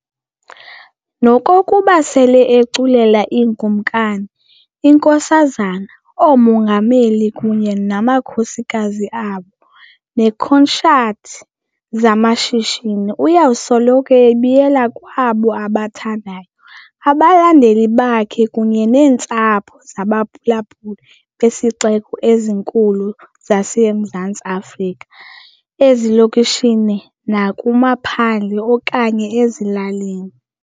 Nokokuba sele eculela iiKumkani, iNkosazana, ooMongameli kunye namakhosikazi abo okanye neekhonshathi zamashishini, uyakusoloko ebuyela kwabo abathandayo - abalandeli bakhe kunye neentsapho zabaphulaphuli bezixeko ezinkulu zaseMzantsi Afrika, ezilokishini nakumaphandle okanye ezilalini.